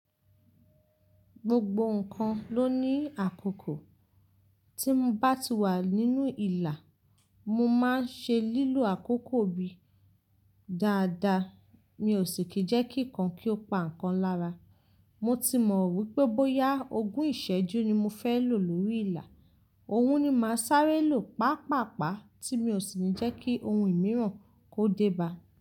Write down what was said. Gbogbo nǹkan ló ní àkókò. Tí mo bá ti wà nínú ìlà, mo máa ń ṣe lílo àkókò mi dáadáa. Mi ò sì kíjẹ́ kí nǹkan kí ó pa nǹkan lára. Mo ti mọ̀ wípé bóyá ogún ìsẹ́jú ni mo fẹ́ lò lórí ìlà, òun ni màá sáré lò pápàpá tí mi ò sì ní jẹ́ kí ohun mìíràn kó déba.